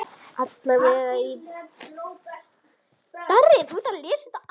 Alla vega í byrjun.